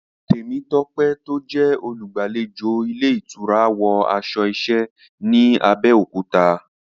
Temitope tó jẹ́ olùgbàlejò ilé ìtura, wọ aṣọ iṣẹ́ ní Abẹ́òkúta.